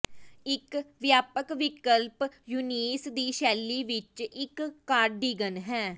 ਇੱਕ ਵਿਆਪਕ ਵਿਕਲਪ ਯੂਨੀਸ ਦੀ ਸ਼ੈਲੀ ਵਿੱਚ ਇੱਕ ਕਾਰਡਿਗਨ ਹੈ